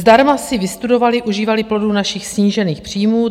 Zdarma si vystudovali, užívali plodů našich snížených příjmů.